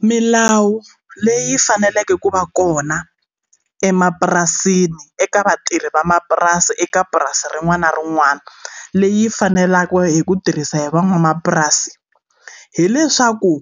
Milawu leyi faneleke ku va kona emapurasini eka vatirhi vamapurasi eka purasi rin'wana na rin'wana leyi faneleke hi ku tirhisa hi van'wamapurasi hileswaku